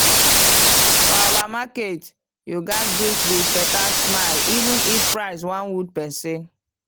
for our market you gats greet with better smile even if price wan wound person.